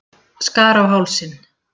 Skar á hálsinn.